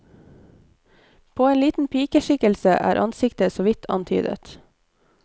På en liten pikeskikkelse er ansiktet så vidt antydet.